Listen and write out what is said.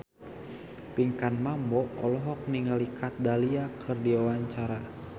Pinkan Mambo olohok ningali Kat Dahlia keur diwawancara